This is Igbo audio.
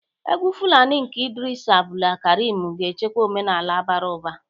Egwu Fulani nke Idris Abdulkarim ga-echekwa omenala bara ụba.